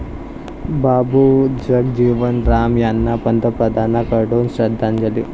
बाबू जगजीवन राम यांना पंतप्रधानांकडून श्रद्धांजली